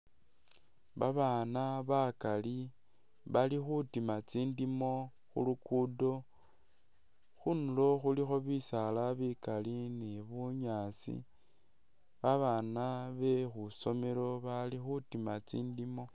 Babaana bakali bali khutima tsindimo khulugudo khundulo khulikho bisaala bikali ni bunyaasi babaana bekhusomelo bali khutima tsindimo